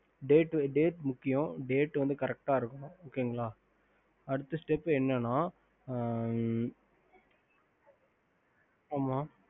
date முக்கியம் date வந்து correct அஹ் இருக்கணும் அடுத்த step என்ன ந sir date னு சொல்றிங்க இல்ல யா ஆமா